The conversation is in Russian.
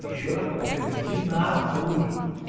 ещё раз повторю иди нахуй